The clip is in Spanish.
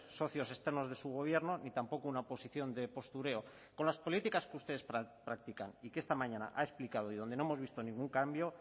socios externos de su gobierno ni tampoco una posición de postureo con las políticas que ustedes practican y que esta mañana ha explicado y donde no hemos visto ningún cambio